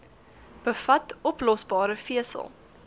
bevat oplosbare vesel